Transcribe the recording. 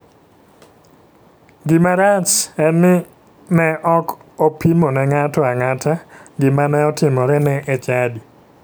Gima rach en ni ne ok opimo ne ng'ato ang'ata gima ne otimorene e chadi.